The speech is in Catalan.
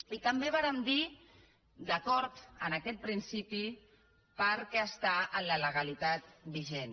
itambé vàrem dir d’acord amb aquest principi perquè està en la legalitat vigent